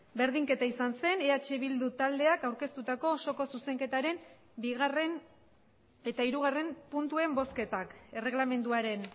berdinketa izan zen eh bildu taldeak aurkeztutako osoko zuzenketaren bigarren eta hirugarren puntuen bozketak erregelamenduaren